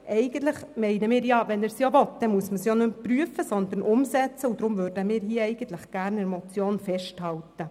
Wenn er es will, muss er dies eigentlich nicht mehr prüfen, sondern umsetzen, und deshalb würden wir hier gerne an der Motion festhalten.